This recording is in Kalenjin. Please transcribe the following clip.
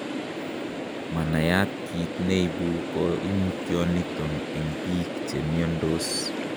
Manayat kit neibu Koimutioniton en biik chemiondos.